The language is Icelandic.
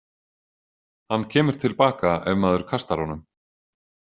Hann kemur til baka ef maður kastar honum.